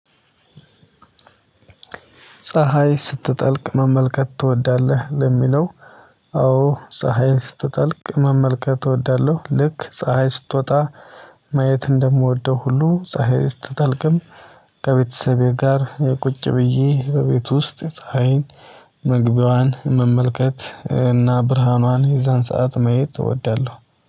ፀሀይ ስትጠልቅ መመልከት ትወዳለህ ለሚለው? አዎ አዎ ፀሀይ ስትጠልቅ መመልከት እወዳለሁ። ልክ ፀሀይ ስትወጣ ማየት እንደምወደው ሁሉ ፀሀይ ውስጥ ታጠልቅም። ከቤተሰቤ ጋር ቁጭ ብዬ በቤቱ ውስጥ ፀሀይን መግቢያዋን መመልከት እና ብርሃኗን የዛን ሰዓት መሄድ እወዳለሁ።